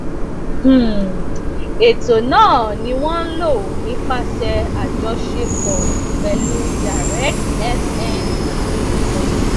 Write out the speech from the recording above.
um ètò náà ni wọn ń lò nípasẹ àjọṣepọ pẹlú directfn ltd